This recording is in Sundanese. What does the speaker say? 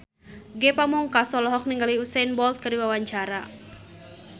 Ge Pamungkas olohok ningali Usain Bolt keur diwawancara